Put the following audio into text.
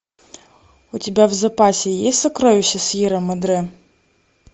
у тебя в запасе есть сокровища сьерра мадре